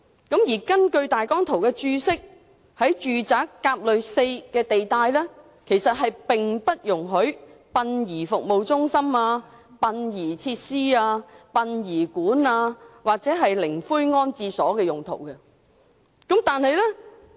根據大綱圖的《註釋》，"甲類 4" 地帶並不容許作殯儀服務中心、殯儀設施、殯儀館或靈灰安置所用途。